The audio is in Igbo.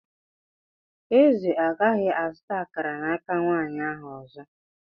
Eze agaghị azụta akara n'aka nwanyị ahụ ọzọ.